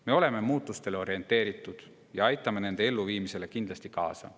Me oleme muutustele orienteeritud ja aitame nende elluviimisele kindlasti kaasa.